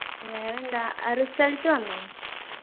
വേറെന്താ അഹ് result വന്നോ